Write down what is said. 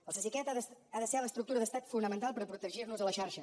el cesicat ha de ser l’estructura d’estat fonamental per protegir nos a la xarxa